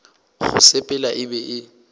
go sepela e be e